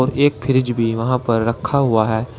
एक फ्रिज भी वहां पर रखा हुआ है।